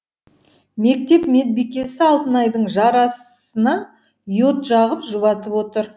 мектеп медбикесі алтынайдың жарасына йод жағып жұбатып отыр